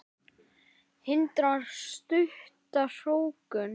Hindrar stutta hrókun.